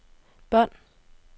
bånd